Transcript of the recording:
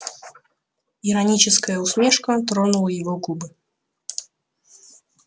ироническая усмешка тронула его губы